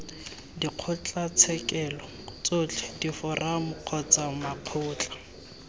dikgotlatshekelo tsotlhe diforamo kgotsa makgotla